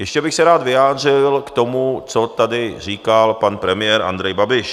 Ještě bych se rád vyjádřil k tomu, co tady říkal pan premiér Andrej Babiš.